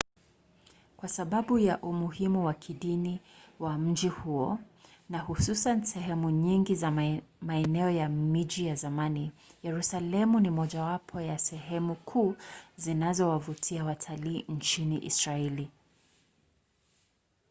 kwa sababu ya umuhimu wa kidini wa mji huo na hususan sehemu nyingi za maeneo ya mji wa zamani yerusalemu ni mojawapo ya sehemu kuu zinazowavutia watalii nchini israeli